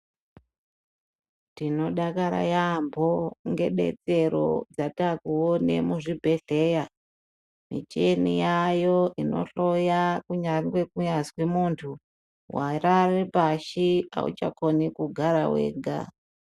Tinodakara yaambo ngedetsero dzatakuona muzvibhehleya. Michini yaayo inohloya kungangwe kunyazi muntu warare pashi auchakoni kugara wega.